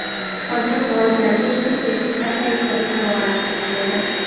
qolgan g‘oliblarga esa sertifikat va esdalik sovg‘alari topshirildi.